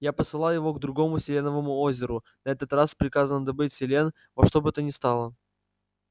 я посылал его к другому селеновому озеру на этот раз с приказом добыть селен во что бы то ни стало